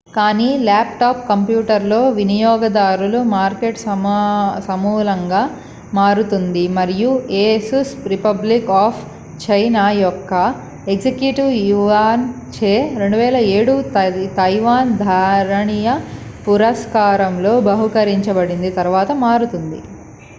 కానీ laptop computer లో వినియోగదారుల మార్కెట్ సమూలంగా మారుతుంది మరియు asus రిపబ్లిక్ ఆఫ్ చైనా యొక్క ఎగ్జిక్యూటివ్ యువాన్ చే 2007 తైవాన్ ధారణీయ పురస్కారంలో బహూకరించబడిన తరువాత మారుతుంది